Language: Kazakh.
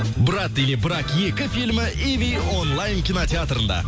брат или брак екі фильмі иви онлайн кинотеатрында